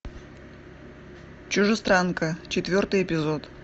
чужестранка четвертый эпизод